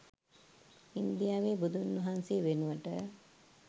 ඉන්දියාවේ බුදුන් වහන්සේ වෙනුවට